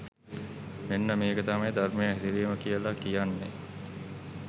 මෙන්න මේක තමයි ධර්මයේ හැසිරීම කියලා කියන්නේ